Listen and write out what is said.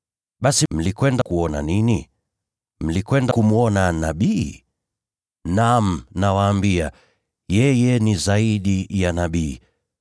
Basi mlikwenda kuona nini? Mlikwenda kumwona nabii? Naam, nawaambia, yeye ni zaidi ya nabii.